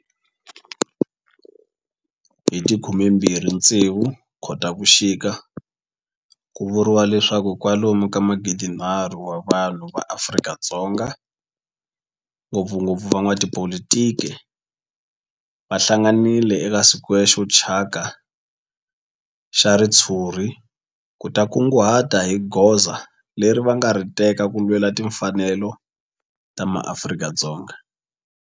Hi ti 26 Khotavuxika ku vuriwa leswaku kwalomu ka magidinharhu wa vanhu va Afrika-Dzonga, ngopfungopfu van'watipolitiki va hlanganile eka square xo thyaka xa ritshuri ku ta kunguhata hi goza leri va nga ta ri teka ku lwela timfanelo ta maAfrika-Dzonga.